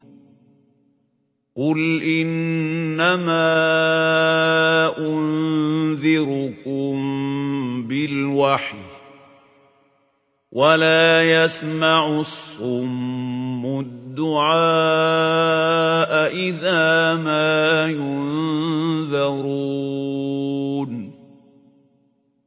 قُلْ إِنَّمَا أُنذِرُكُم بِالْوَحْيِ ۚ وَلَا يَسْمَعُ الصُّمُّ الدُّعَاءَ إِذَا مَا يُنذَرُونَ